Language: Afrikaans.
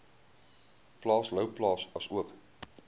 plaas louwplaas asook